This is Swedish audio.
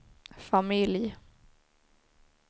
familj